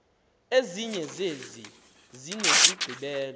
ezinye zezi zinesigqibelo